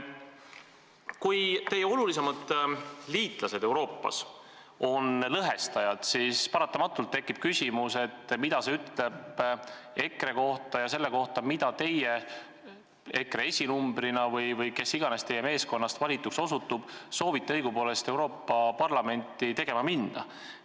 Kui teie olulisemad liitlased Euroopas on lõhestajad, siis tekib paratamatult küsimus, mida see ütleb EKRE kohta ja selle kohta, mida teie EKRE esinumbrina – või kes iganes teie meeskonnast valituks osutub – soovite õigupoolest Euroopa Parlamenti tegema minna.